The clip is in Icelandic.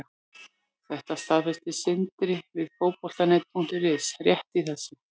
Þetta staðfesti Sindri við Fótbolta.net rétt í þessu.